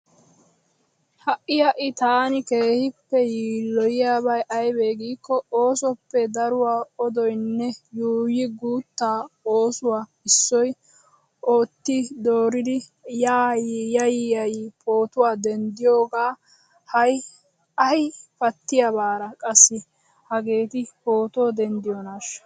Ha'i ha'i tana keehiippe yiilloyiyaabay aybee giikko oosoppe daruwa odoynne, yuuyi guutta oosuwaa issoy oottidoriira yay yay pooto denddiyogaa. Hay ay paattiyabara qassi hageeti pooto dendiyoonaasha.